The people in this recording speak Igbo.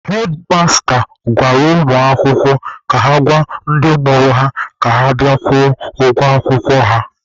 Hedmasta gwara ụmụ akwụkwọ ka ha gwa ndị mụrụ ha ka ha bịa kwụọ ụgwọ akwụkwọ ha.